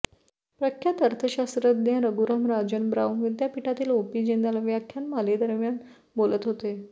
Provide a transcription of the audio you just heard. प्रख्यात अर्थशास्त्रज्ञ रघुराम राजन ब्राउन विद्यापीठातील ओपी जिंदाल व्याख्यानमालेदरम्यान बोलत होते